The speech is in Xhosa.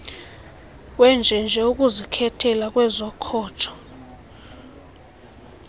wenjenje ukuzikhetheja kwezokhojo